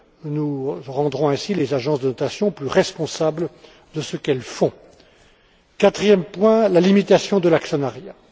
Nous rendrons ainsi les agences de notation plus responsables de ce qu'elles font. Quatrième point, la limitation de l'actionnariat.